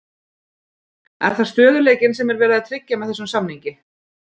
Er það stöðugleikinn sem er verið að tryggja með þessum samningi?